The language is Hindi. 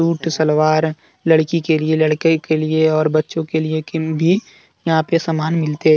शूट सलवार लड़की के लिए लड़के के लिए और बच्चों के लिए किन्ती यहां पर सामान मिलते--